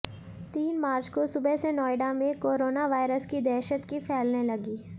तीन मार्च को सुबह से नोएडा में कोरोनावायरस की दहशत की फैलने लगी